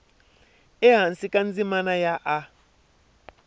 ehansi ka ndzimana ya a